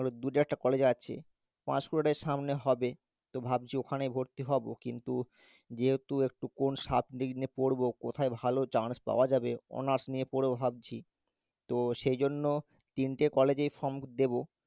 আরও দু চারটে college আছে পাঁশকুড়াটাই সামনে হবে তো ভাবছি ওখানেই ভর্তি হবো, কিন্তু যেহেতু একটু কোন subject নিয়ে পড়বো কোথায় ভালো chance পাওয়া যাবে honours নিয়ে পড়বো ভাবছি, তো সেইজন্য তিনটে college এই form দেবো,